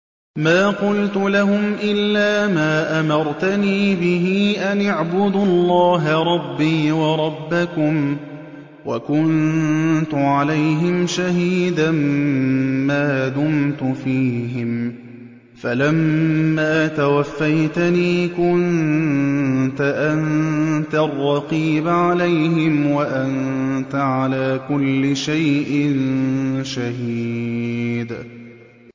مَا قُلْتُ لَهُمْ إِلَّا مَا أَمَرْتَنِي بِهِ أَنِ اعْبُدُوا اللَّهَ رَبِّي وَرَبَّكُمْ ۚ وَكُنتُ عَلَيْهِمْ شَهِيدًا مَّا دُمْتُ فِيهِمْ ۖ فَلَمَّا تَوَفَّيْتَنِي كُنتَ أَنتَ الرَّقِيبَ عَلَيْهِمْ ۚ وَأَنتَ عَلَىٰ كُلِّ شَيْءٍ شَهِيدٌ